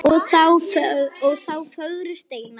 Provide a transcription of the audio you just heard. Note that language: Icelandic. Ó þá fögru steina.